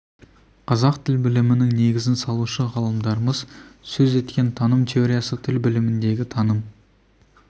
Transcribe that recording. қазақ тіл білімінің негізін салушы ғалымдарымыз сөз еткен таным теориясы тіл біліміндегі таным